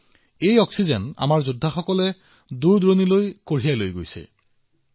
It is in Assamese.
আমাৰ যোদ্ধাসকলে এই অক্সিজেন দেশৰ দূৰদূৰণিলৈ লৈ গৈছে